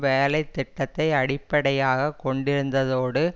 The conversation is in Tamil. வேலை திட்டத்தை அடிப்படையாக கொண்டிருந்ததோடு